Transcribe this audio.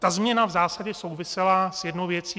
Ta změna v zásadě souvisela s jednou věcí.